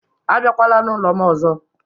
Abịakwala n'ụlọ m ọzọ